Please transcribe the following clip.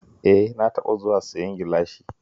E, na taɓa zuwa siyan gilashi